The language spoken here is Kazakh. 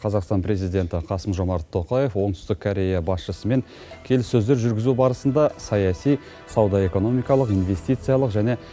қазақстан президенті қасым жомарт тоқаев оңтүстік корея басшысымен келіссөздер жүргізу барысында саяси сауда экономикалық инвестициялық және